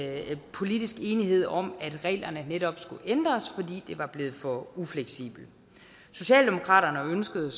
politisk enighed om at reglerne netop skulle ændres fordi det var blevet for ufleksibelt socialdemokratiet